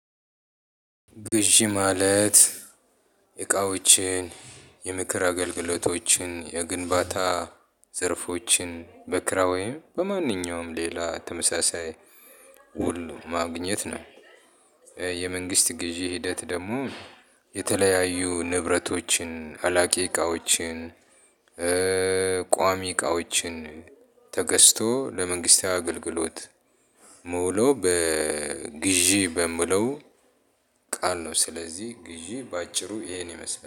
ግዢ ማለት እቃዋችን የምክር አገልግሎቶችን የግንባታ ዘርፎችን በክራይ ወይም በማንኛውም ሌላ ተመሳሳይ ሁሉ ማግኘት ነው። የመንግስት ግዢ ሂደት ደግሞ የተለያዩ ንብረቶችን አላቂ እቃዎችን። ቋሚ እቃዋችን ተገዝቶ ለመንግስታዊ አገልግሎት። የሚውለው በ ግዢ በሚለው ቃል ነው ስለዚህ ግዢ በአጭሩ ይሄንን ይመስላል